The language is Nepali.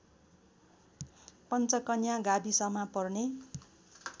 पञ्चकन्या गाविसमा पर्ने